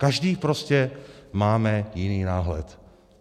Každý prostě máme jiný náhled.